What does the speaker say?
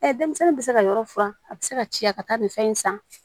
denmisɛnnin bɛ se ka yɔrɔ furan a bɛ se ka ci ya ka taa nin fɛn in san